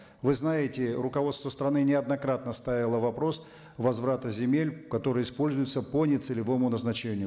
вы знаете руководство страны неоднократно ставило вопрос возврата земель которые используются по нецелевому назначению